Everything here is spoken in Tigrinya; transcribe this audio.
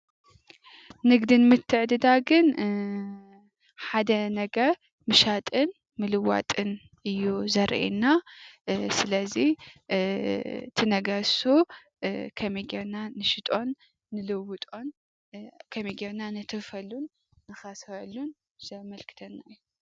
ንግድን ምትዕድዳግን ሓደ ነገር ምሻጥን ምልዋጥን እዩ ዘርእየና:: ስለዚ እቲ ነገር እሱ ከመይ ገይርና ንሸጦን ንልውጦን ከመይ ገየርና ነተርፈሉን ንከስረሉን ዘመልክተና እዩ።